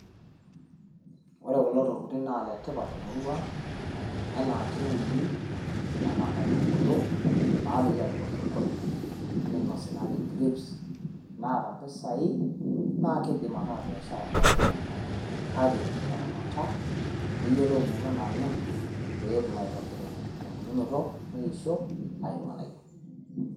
Ore kulo tokitin naa ile tipat te murua ang, enaa keuni enaa nkaitubulu naamiri aapik osokoni neinosi naaji crips. Naata mpisai naa kidim ataa biashara oltung`ani kake, itaramata niyiolou imuruan naanyorr pee etum aitobirunye te mbulunoto neisho ayiu ilng`anayio.